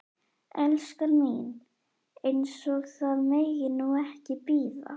Elskan mín. eins og það megi nú ekki bíða!